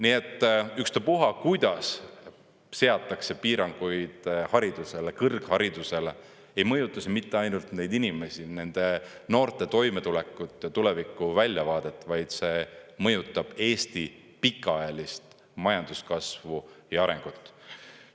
Nii et ükspuha, kuidas seatakse piiranguid haridusele, kõrgharidusele, ei mõjuta mitte ainult neid inimesi, nende noorte toimetulekut ja tuleviku väljavaadet, vaid see mõjutab Eesti pikaajalist majanduskasvu ja arengut.